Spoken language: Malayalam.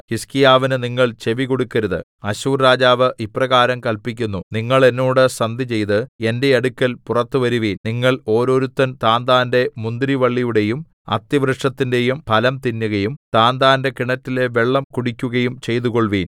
ഹിസ്കീയാവിന് നിങ്ങൾ ചെവികൊടുക്കരുത് അശ്ശൂർ രാജാവ് ഇപ്രകാരം കല്പിക്കുന്നു നിങ്ങൾ എന്നോട് സന്ധിചെയ്ത് എന്റെ അടുക്കൽ പുറത്തു വരുവിൻ നിങ്ങൾ ഓരോരുത്തൻ താന്താന്റെ മുന്തിരിവള്ളിയുടെയും അത്തിവൃക്ഷത്തിന്റെയും ഫലം തിന്നുകയും താന്താന്റെ കിണറ്റിലെ വെള്ളം കുടിക്കുകയും ചെയ്തുകൊൾവിൻ